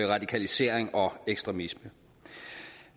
radikalisering og ekstremisme